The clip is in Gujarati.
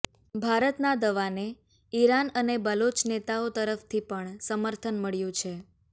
ભારતના દાવાને ઈરાન અને બલોચ નેતાઓ તરફથી પણ સમર્થન મળ્યું છે